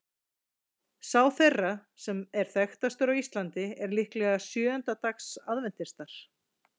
Sá þeirra sem er þekktastur á Íslandi er líklega sjöunda dags aðventistar.